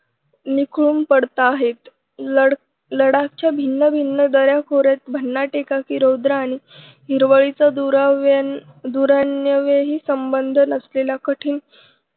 निखळून पडत आहेत. लडख लडाखच्या भिन्नभिन्न दऱ्याखोऱ्यात भन्नाट एकाकी रौद्र आणि हिरवळीच दुराव्याने दुरण्यव्य संबंध नसलेला कठीण